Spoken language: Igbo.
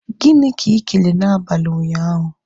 Gịnị ka ị kelee na abalị ụnyaahụ?